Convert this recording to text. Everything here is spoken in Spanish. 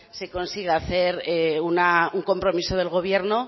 se consiga hacer un compromiso del gobierno